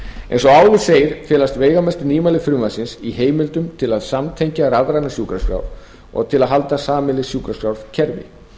eins og áður segir felast veigamestu nýmæli frumvarpsins í heimildum til að samtengja rafrænar sjúkraskrár og til að halda sameiginleg sjúkraskrárkerfi